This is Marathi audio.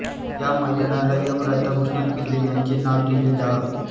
या मैदानाला एम राधाकृष्णन पिल्लै यांचे नाव दिलेले आह